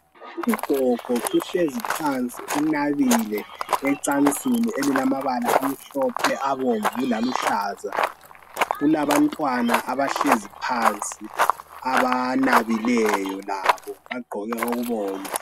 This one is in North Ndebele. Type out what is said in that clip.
Ugogo uhlezi phansi unabile ecansini elilamabala amhlophe abomvu laluhlaza. Kulamabantwana abahlezi phansi banabile labo bagqoke okubomvu.